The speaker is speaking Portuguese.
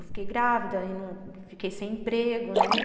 Eu fiquei grávida, fiquei sem emprego, né?